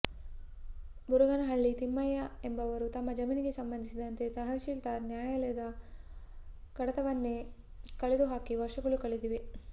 ಬುರುಗನಹಳ್ಳಿ ತಿಮ್ಮಯ್ಯ ಎಂಬುವರು ತಮ್ಮ ಜಮೀನಿಗೆ ಸಂಬಂಧಿಸಿದಂತೆ ತಹಸೀಲ್ದಾರ್ ನ್ಯಾಯಾಲಯದ ಕಡತವನ್ನೆ ಕಳೆದು ಹಾಕಿ ವರ್ಷಗಳು ಕಳೆದಿವೆ